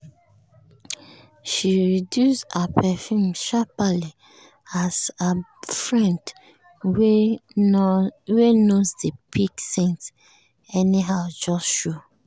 she reduce her perfume sharperly as her friend wey nose dey pick scent anyhow just show.